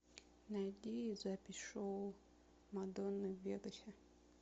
найди запись шоу мадонны в вегасе